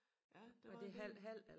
Ja der var en del